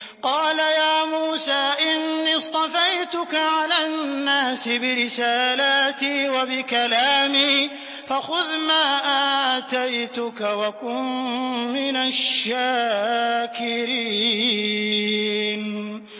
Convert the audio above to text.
قَالَ يَا مُوسَىٰ إِنِّي اصْطَفَيْتُكَ عَلَى النَّاسِ بِرِسَالَاتِي وَبِكَلَامِي فَخُذْ مَا آتَيْتُكَ وَكُن مِّنَ الشَّاكِرِينَ